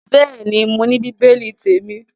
Bẹ́ẹ̀ ni, mo ní bíbélì témi.